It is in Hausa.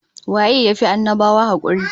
Waye ya fi annabawa hakuri?